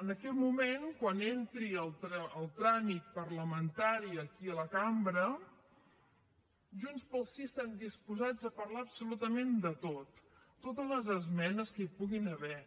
en aquest moment quan entri al tràmit parlamentari aquí a la cambra junts pel sí estem disposats a parlar absolutament de tot totes les esmenes que hi puguin haver